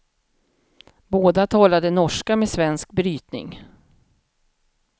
Båda talade norska med svensk brytning.